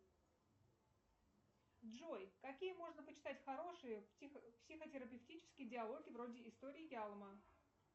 джой какие можно почитать хорошие психотерапевтические диалоги вроде истории ялма